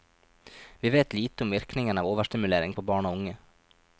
Vi vet lite om virkningen av overstimulering på barn og unge.